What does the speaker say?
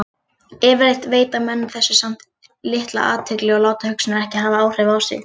Yfirleitt veita menn þessu samt litla athygli og láta hugsanirnar ekki hafa áhrif á sig.